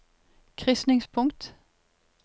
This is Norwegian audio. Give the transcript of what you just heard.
krysningspunkt